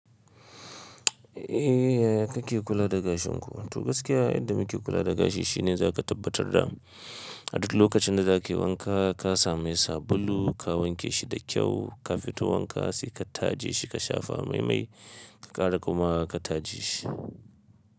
Eh yaya kake kula da gashin ku? To gaskiya inda muke kula da gashi shine za ka tabbatar da a duk lokacin da za kai wanka ka sami sabulu, ka wanke shi da kyau, ka fito wanka sai ka taje shi, ka shafa mai-mai, ka ƙara kuma ka taje shi.